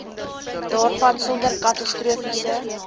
daarvan sonder katastrofiese